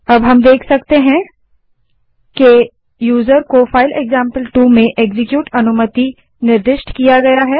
अब हम देख सकते हैं कि यूजर को फाइल एक्जाम्पल2 में एक्जीक्यूट अनुमति निर्दिष्ट की गयी है